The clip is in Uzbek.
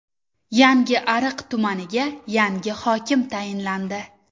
Yangiariq tumaniga yangi hokim tayinlandi.